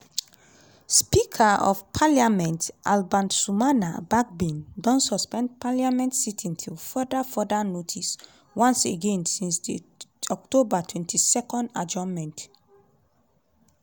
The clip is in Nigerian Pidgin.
speaker of parliament alban sumana bagbin don suspend parliament sitting till further further notice once again since di october 22 adjournment.